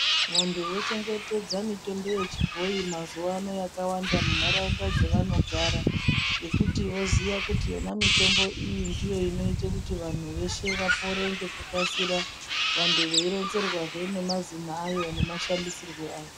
Vantu vochengetedza mitombo yechibhoyi mazuwa ano mundaraunda dzatinogara ngekuti voziya kuti yona mutombo iyi ndiyo inoita kuti vantu veshe vapone nekukasika vantu veironzerwazve ngemazino ayo nemashandisirwo ayo.